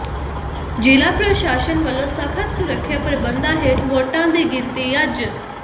ਜ਼ਿਲ੍ਹਾ ਪ੍ਰਸ਼ਾਸਨ ਵੱਲੋਂ ਸਖ਼ਤ ਸੁਰੱਖਿਆ ਪ੍ਰਬੰਧਾਂ ਹੇਠ ਵੋਟਾਂ ਦੀ ਗਿਣਤੀ ਅੱਜ